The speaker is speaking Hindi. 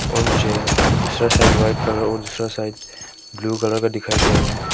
और मुझे दूसरा साइड व्हाइट कलर और दूसरा साइड ब्लू कलर का दिखाई दे रहा है।